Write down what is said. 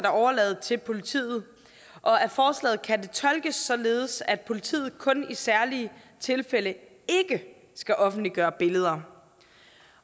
overlade til politiet og af forslaget kan det tolkes således at politiet kun i særlige tilfælde ikke skal offentliggøre billeder